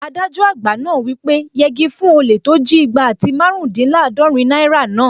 Adájọ àgbà náà wí pé "yegi fún olè tó jí igba àti márùndínlàádọ́rin náírà náà!"